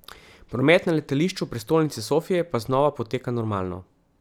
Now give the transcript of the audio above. Promet na letališču prestolnice Sofije pa znova poteka normalno.